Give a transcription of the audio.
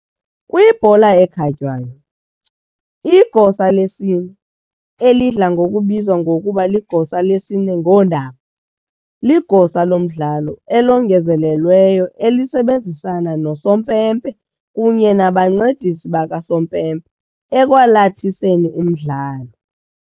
Kwibhola ekhatywayo, igosa lesine, elidla ngokubizwa ngokuba ligosa lesine ngoondaba, ligosa lomdlalo elongezelelweyo elisebenzisana nosompempe kunye nabancedisi bakasompempe ekwalathiseni umdlalo.